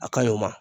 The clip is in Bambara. A ka ɲi o ma